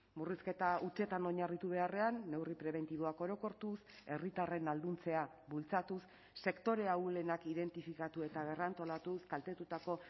murrizketa hutsetan oinarritu beharrean neurri prebentiboak orokortuz herritarren ahalduntzea bultzatuz sektore ahulenak identifikatu eta berrantolatuz kaltetutako